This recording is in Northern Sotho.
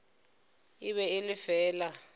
e be e le fela